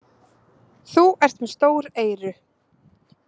Þú ert með stór eyru.